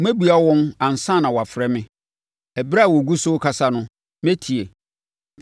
Mɛbua wɔn ansa na wɔafrɛ me. Ɛberɛ a wɔgu so rekasa no, mɛtie.